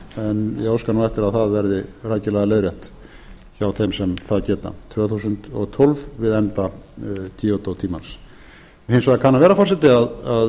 en ég óska nú eftir að það verði rækilega leiðrétt hjá þeim sem það geta tvö þúsund og tólf við enda kyoto tímans hins vegar kann að vera forseti að